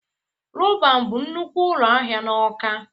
Roban bụ nnukwu ụlọ ahịa na Awka.